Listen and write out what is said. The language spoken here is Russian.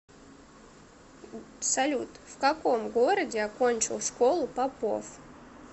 салют в каком городе окончил школу попов